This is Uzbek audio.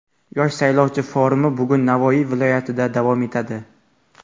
"Yosh saylovchi" forumi bugun Navoiy viloyatida davom etadi.